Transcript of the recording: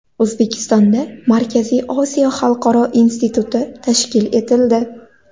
O‘zbekistonda Markaziy Osiyo xalqaro instituti tashkil etildi.